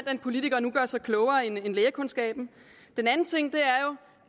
at en politiker nu gør sig klogere end lægekundskaben den anden ting